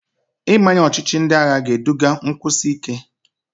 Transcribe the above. Ịmanye ọchịchị ndị agha ga-eduga nkwụsi ike.